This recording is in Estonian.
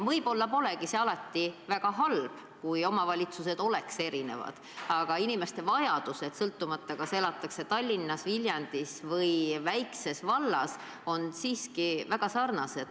Võib-olla see polegi alati väga halb, sest omavalitused ongi erinevad, aga inimeste vajadused on – sõltumata sellest, kas elatakse Tallinnas, Viljandis või väikses vallas – siiski väga sarnased.